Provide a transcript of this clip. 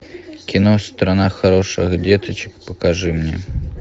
кино страна хороших деточек покажи мне